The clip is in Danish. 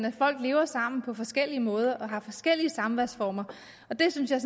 at folk lever sammen på forskellige måder og har forskellige samværsformer og det synes jeg